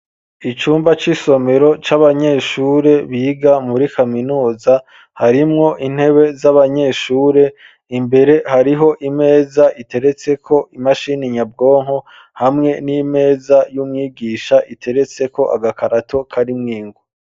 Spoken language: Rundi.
Icumba c'isomero c'abanyeshure biga muri kaminuza harimwo intebe z'abanyeshure imbere hariho imeza iteretse ko imashini nyabwonko hamwe n'imeza y'umwigisha iteretseko agakarato karimwo ingwa